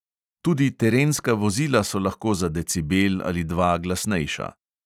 Tudi terenska vozila so lahko za decibel ali dva glasnejša.